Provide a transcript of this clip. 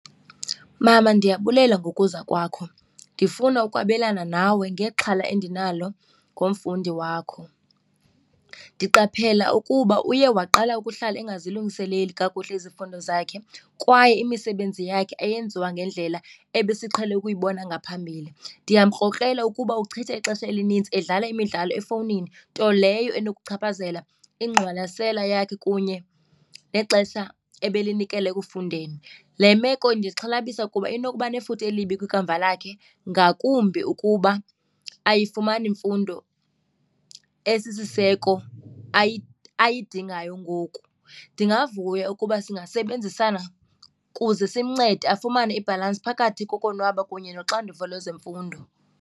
Mama, ndiyabulela ngokuza kwakho. Ndifuna ukwabelana nawe ngexhala endinalo ngomfundi wakho. Ndiqaphela ukuba uye waqala ukuhlala engazilungiseleli kakuhle izifundo zakhe kwaye imisebenzi yakhe ayenziwa ngendlela ebesiqhelele ukuyibona ngaphambili. Ndiyamkrokrela ukuba uchitha ixesha elinintsi edlala imidlalo efowunini, nto leyo enokuchaphazela ingqwalasela yakhe kunye nexesha ebelinikela ekufundeni. Le meko indixhalabisa kuba inokuba nefuthe elibi kwikamva lakhe ngakumbi ukuba ayifumani mfundo esisiseko ayidingayo ngoku. Ndingavuya ukuba singasebenzisana kuze simncede afumane ibhalansi phakathi kokonwaba kunye noxanduva lwezemfundo.